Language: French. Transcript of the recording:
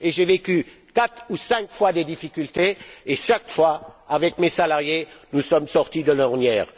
Nous avons traversé quatre ou cinq fois des difficultés et à chaque fois, avec mes salariés, nous sommes sortis de l'ornière.